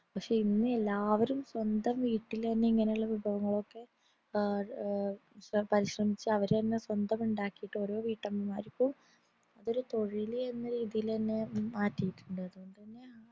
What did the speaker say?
പക്ഷെ ഇന്ന് എല്ലാവരും സ്വന്തം വീട്ടിലിന്നെ ഇങ്ങനെയുള്ള വിഭവങ്ങളൊക്കെ ഏർ പരിശ്രമിച്ചു അവരു തന്നെ സ്വന്തം ഉണ്ടാക്കിട്ടു ഓരോ വീട്ടമ്മമാർക്കും അതൊരു തൊഴിലെന്ന രീതിലെന്നെ മാറ്റീട്ടുണ്ട് അതോണ്ട് തെന്നെ